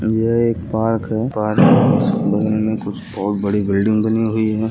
यह एक पार्क है पार्क के उस बगल में कुछ बहुत बड़ी बिल्डिंग बनी हुई है।